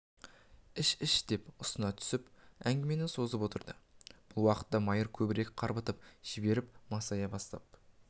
іш-іш деп ұсына түсіп әңгімені созып отырды бұл уақытта майыр көбірек қарбытып жіберіп масая бастап